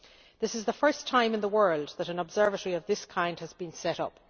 This is the first time in the world that an observatory of this kind has been set up.